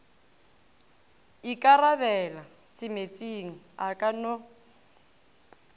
ikarabela semeetseng a ka no